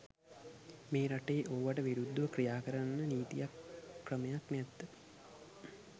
මේ රටේ ඕවට විරුද්දව ක්‍රියා කරන්න නීතියක් ක්‍රමයක් නෑද්ද?